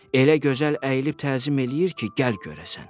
Elə gözəl əyilib təzim eləyir ki, gəl görəsən.